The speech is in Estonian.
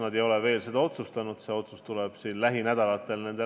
Nad ei ole veel seda otsustanud, see otsus tuleb nende lauale lähinädalatel.